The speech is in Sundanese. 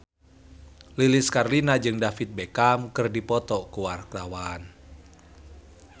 Lilis Karlina jeung David Beckham keur dipoto ku wartawan